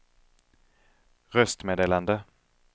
röstmeddelande